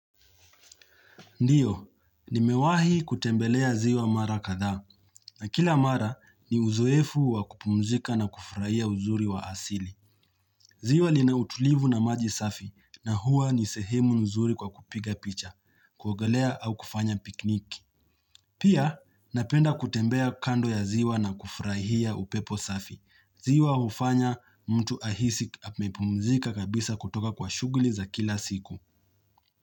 Ndiyo, nimewahi kutembelea ziwa mara katha, na kila mara ni uzoefu wa kupumzika na kufraia uzuri wa asili. Ziwa linautulivu na maji safi, na huwa nisehemu uzuri kwa kupiga picha, kuogelea au kufanya piknik. Pia, napenda kutembea kando ya ziwa na kufraia upepo safi. Ziwa hufanya mtu ahisi apemepumzika kabisa kutoka kwa shuguli za kila siku.